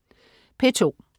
P2: